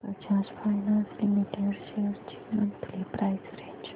Bajaj finance limited shares ची monthly price range